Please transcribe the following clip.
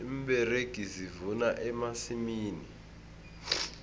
iimberegi zivuna emasimini